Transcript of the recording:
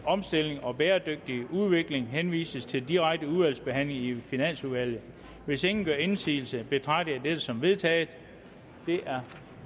omstilling og bæredygtig udvikling henvises til direkte udvalgsbehandling i finansudvalget hvis ingen gør indsigelse betragter jeg dette som vedtaget